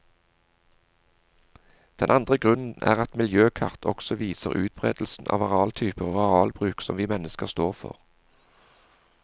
Den andre grunnen er at miljøkart også viser utberedelsen av arealtyper og arealbruk som vi mennesker står for.